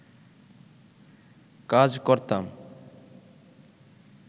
কাজ করতাম